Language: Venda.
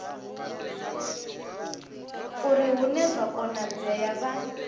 uri hune zwa konadzea vha